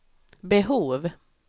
behov